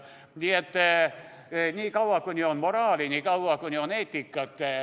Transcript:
Nii et niikaua, kuni on moraali, niikaua, kuni on eetikat ...